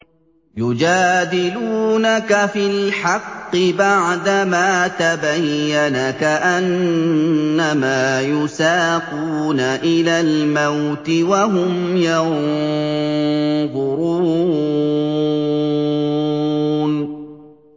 يُجَادِلُونَكَ فِي الْحَقِّ بَعْدَمَا تَبَيَّنَ كَأَنَّمَا يُسَاقُونَ إِلَى الْمَوْتِ وَهُمْ يَنظُرُونَ